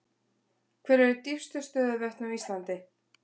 Hver eru dýpstu stöðuvötn á Íslandi?